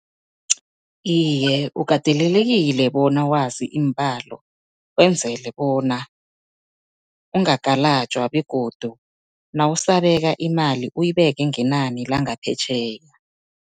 Iye, ukatelelekile bona wazi iimbalo, wenzele bona ungagalajwa begodu nawusabeka imali, uyibeke ngenani langaphetjheya.